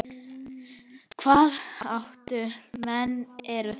Hvaða átta menn eru þetta?